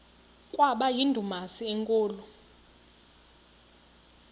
kwaba yindumasi enkulu